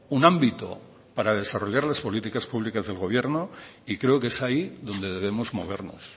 un ámbito para desarrollas las políticas públicas del gobierno y creo que es ahí donde debemos movernos